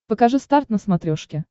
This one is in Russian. покажи старт на смотрешке